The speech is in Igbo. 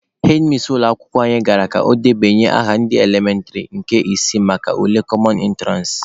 Hedmis ụlọ akwụkwọ anyị gara ka o debanye aha ndị elementịrị nke isii maka ule kọmọn ịntụransị.